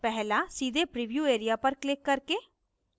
1 पहला सीधे preview area पर क्लिक करके